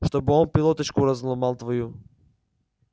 чтобы он тебе пилоточку разломал твою